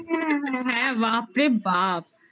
হ্যাঁ বাপরে বাপ